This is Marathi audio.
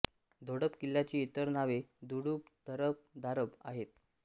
धोडप किल्ल्याची इतर नावे धुडप धरब धारब आहेत